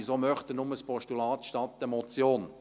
Wieso möchte er nur ein Postulat anstelle einer Motion?